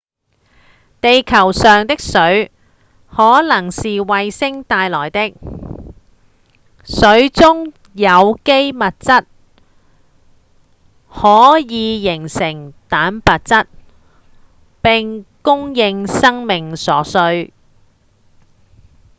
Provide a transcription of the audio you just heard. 地球上的水可能是彗星帶來的水中的有機物質則可以形成蛋白質並供應生命所需